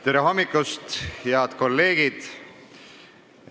Tere hommikust, head kolleegid!